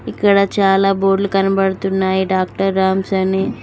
ఇక్కడ చాలా బోర్డ్లు కనబడుతున్నాయి డాక్టర్ రామ్స్ అని.